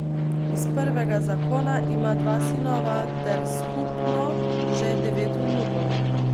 Iz prvega zakona ima dva sinova ter skupno že devet vnukov.